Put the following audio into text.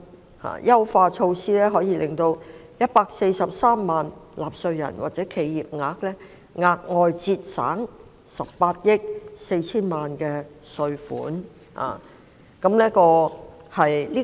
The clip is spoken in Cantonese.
這項優化措施可令143萬名納稅人或企業額外節省18億 4,000 萬元稅款。